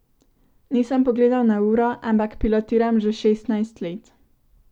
Nisem pogledal na uro, ampak pilotiram že šestnajst let.